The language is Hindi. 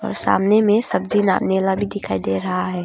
और सामने में सब्जी ना मेला भी दिखाई दे रहा है।